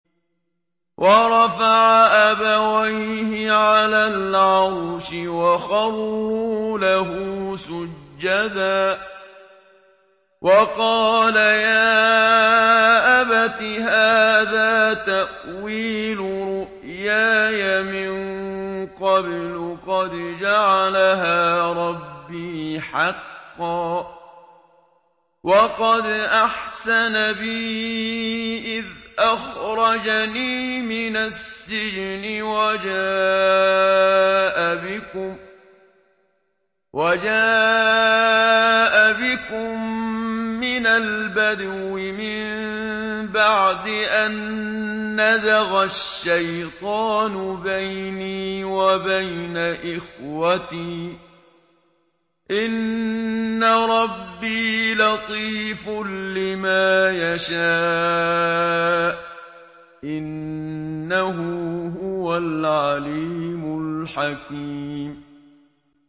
وَرَفَعَ أَبَوَيْهِ عَلَى الْعَرْشِ وَخَرُّوا لَهُ سُجَّدًا ۖ وَقَالَ يَا أَبَتِ هَٰذَا تَأْوِيلُ رُؤْيَايَ مِن قَبْلُ قَدْ جَعَلَهَا رَبِّي حَقًّا ۖ وَقَدْ أَحْسَنَ بِي إِذْ أَخْرَجَنِي مِنَ السِّجْنِ وَجَاءَ بِكُم مِّنَ الْبَدْوِ مِن بَعْدِ أَن نَّزَغَ الشَّيْطَانُ بَيْنِي وَبَيْنَ إِخْوَتِي ۚ إِنَّ رَبِّي لَطِيفٌ لِّمَا يَشَاءُ ۚ إِنَّهُ هُوَ الْعَلِيمُ الْحَكِيمُ